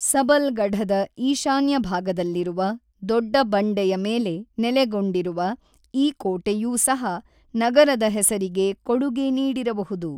ಸಬಲ್‌ಗಢದ ಈಶಾನ್ಯ ಭಾಗದಲ್ಲಿರುವ ದೊಡ್ಡ ಬಂಡೆಯ ಮೇಲೆ ನೆಲೆಗೊಂಡಿರುವ ಈ ಕೋಟೆಯೂ ಸಹ ನಗರದ ಹೆಸರಿಗೆ ಕೊಡುಗೆ ನೀಡಿರಬಹುದು.